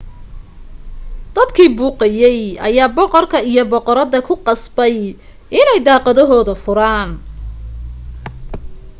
dadkii buuqayay ayaa boqorka iyo boqorada ku qasbay inay daaqadohooda furaan